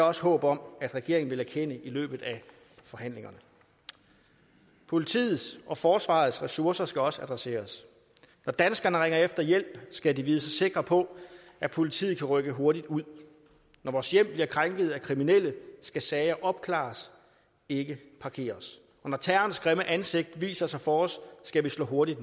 også håb om at regeringen vil erkende i løbet af forhandlingerne politiets og forsvarets ressourcer skal også adresseres når danskerne ringer efter hjælp skal de vide sig sikre på at politiet kan rykke hurtigt ud når vores hjem bliver krænket af kriminelle skal sager opklares ikke parkeres og når terrorens grimme ansigt viser sig for os skal vi slå hurtigt